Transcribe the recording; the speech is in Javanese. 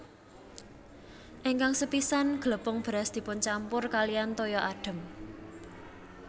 Ingkang sepisan glepung beras dipuncampur kaliyan toya adhem